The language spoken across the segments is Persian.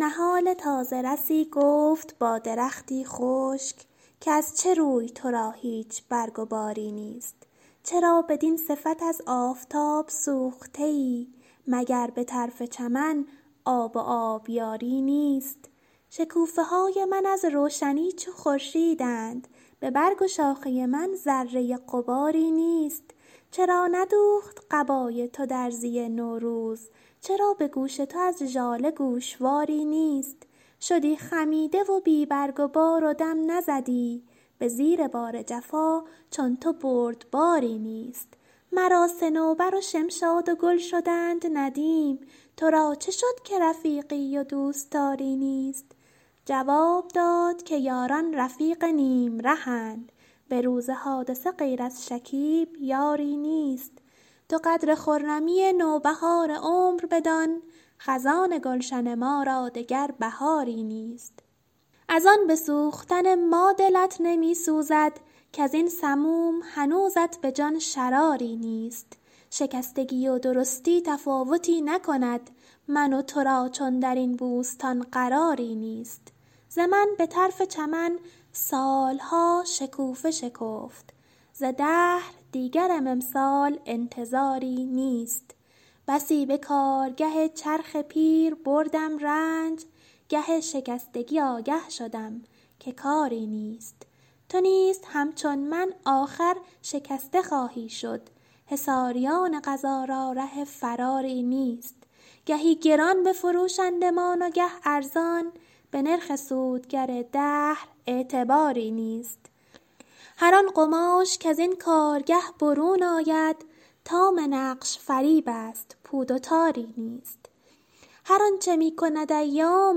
نهال تازه رسی گفت با درختی خشک که از چه روی ترا هیچ برگ و باری نیست چرا بدین صفت از آفتاب سوخته ای مگر بطرف چمن آب و آبیاری نیست شکوفه های من از روشنی چو خورشیدند ببرگ و شاخه من ذره غباری نیست چرا ندوخت قبای تو درزی نوروز چرا بگوش تو از ژاله گوشواری نیست شدی خمیده و بی برگ و بار و دم نزدی بزیر بار جفا چون تو بردباری نیست مرا صنوبر و شمشاد و گل شدند ندیم ترا چه شد که رفیقی و دوستاری نیست جواب داد که یاران رفیق نیم رهند بروز حادثه غیر از شکیب یاری نیست تو قدر خرمی نوبهار عمر بدان خزان گلشن ما را دگر بهاری نیست از ان بسوختن ما دلت نمیسوزد کازین سموم هنوزت بجان شراری نیست شکستگی و درستی تفاوتی نکند من و ترا چون درین بوستان قراری نیست ز من بطرف چمن سالها شکوفه شکفت ز دهر دیگرم امسال انتظاری نیست بسی به کارگه چرخ پیر بردم رنج گه شکستگی آگه شدم که کاری نیست تو نیز همچو من آخر شکسته خواهی شد حصاریان قضا را ره فراری نیست گهی گران بفروشندمان و گه ارزان به نرخ سود گر دهر اعتباری نیست هر آن قماش کزین کارگه برون آید تمام نقش فریب است پود و تاری نیست هر آنچه میکند ایام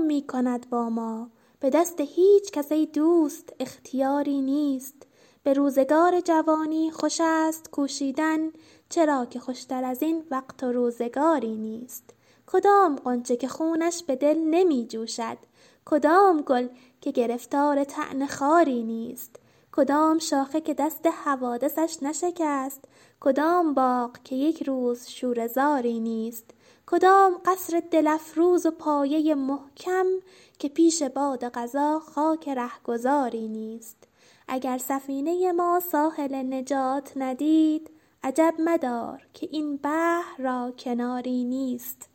میکند با ما بدست هیچکس ای دوست اختیاری نیست بروزگار جوانی خوش است کوشیدن چرا که خوشتر ازین وقت و روزگاری نیست کدام غنچه که خونش بدل نمی جوشد کدام گل که گرفتار طعن خاری نیست کدام شاخه که دست حوادثش نشکست کدام باغ که یکروز شوره زاری نیست کدام قصر دل افروز و پایه محکم که پیش باد قضا خاک رهگذاری نیست اگر سفینه ما ساحل نجات ندید عجب مدار که این بحر را کناری نیست